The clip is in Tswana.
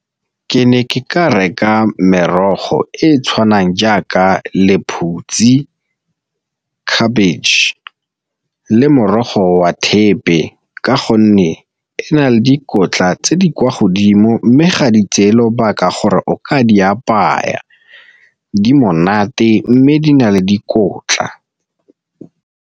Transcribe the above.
Ke ne ke ka reka merogo e e tshwanang jaaka lephutsi, khabetšhe le morogo wa thepe ka gonne e na le dikotla tse di kwa godimo, mme ga di tseye lobaka gore o ka di apaya di monate mme di na le dikotla.